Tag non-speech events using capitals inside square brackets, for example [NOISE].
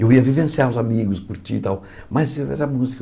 Eu ia vivenciar os amigos, curtir e tal, mas eu [UNINTELLIGIBLE] música.